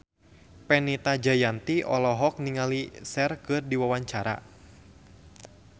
Fenita Jayanti olohok ningali Cher keur diwawancara